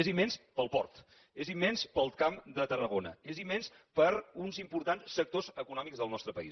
és immens per al port és immens per al camp de tarragona és immens per a uns importants sectors econòmics del nostre país